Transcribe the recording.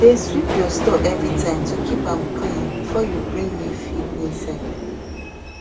dey sweep your store everytime to keep am clean before you bring new feed inside